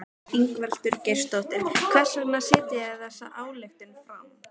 Ingveldur Geirsdóttir: Hvers vegna setjið þið þessa ályktun fram?